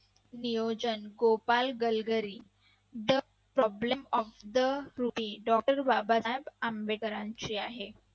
नियोजन Gopal Galgari the problem of the rupee doctor Babasaheb आंबेडकरांचे आहे